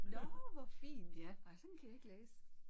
Nåh hvor fint. Ej sådan kan jeg ikke læse